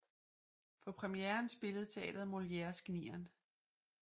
På premieren spillede teatret Molières Gnieren